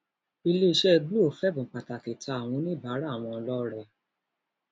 iléeṣẹ glo febun pàtàkì ta àwọn oníbàárà wọn lọrẹ